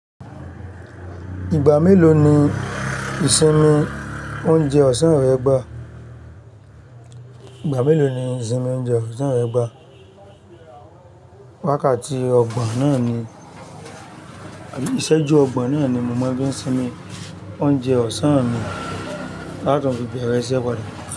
Ìgbà mélòó ni ìsinmi oúnjẹ ọ̀sán rẹ gbà? Ìgbà mélòó ni ìsinmi oúnjẹ ọ̀sán rẹ gbà? Wákàtí ọgbọ̀n náà ni, àbí ìṣẹ́jú ọgbọ̀n náà ni mo máa ń fi sinmi oúnjẹ ọ̀sán mi ta tún fi bẹ̀rẹ̀ iṣẹ́ padà.